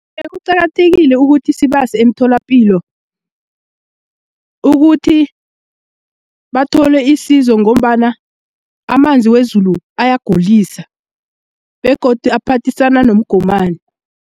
Iye, kuqakathekile ukuthi sibase emitholapilo ukuthi bathole isizo ngombana amanzi wezulu ayagulisa begodu aphathisana nomgomani.